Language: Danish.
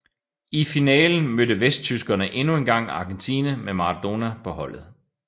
I finalen mødte vesttyskerne endnu engang Argentina med Maradona på holdet